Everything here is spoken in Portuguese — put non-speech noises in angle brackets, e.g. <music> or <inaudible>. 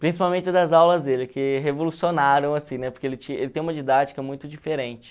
Principalmente das aulas dele, que revolucionaram, assim, né, porque ele <unintelligible> ele tem uma didática muito diferente.